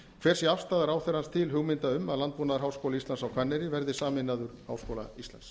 hver sé afstaða ráðherrans til hugmynda um landbúnaðarháskóli íslands á hvanneyri verði sameinaður háskóla íslands